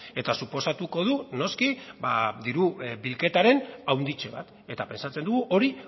eta suposatuko du noski diru bilketaren handitze bat eta pentsatzen dugu hori